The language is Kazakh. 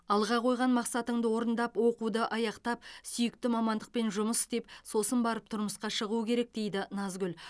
алға қойған мақсатыңды орындап оқуды аяқтап сүйікті мамандықпен жұмыс істеп сосын барып тұрмысқа шығу керек дейді назгүл